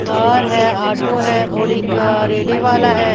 Car है auto हैऔर एक रेडी वाला है।